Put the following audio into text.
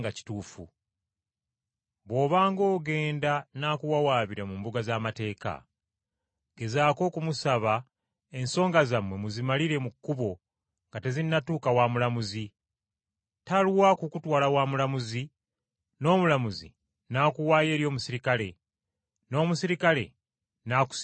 Bw’obanga ogenda n’akuwawaabira mu mbuga z’amateeka, gezaako okumusaba ensonga zammwe muzimalire mu kkubo nga tezinnatuuka wa mulamuzi, talwa kukutwala wa mulamuzi, n’omulamuzi n’akuwaayo eri omuserikale, n’omuserikale n’akusibira mu kkomera.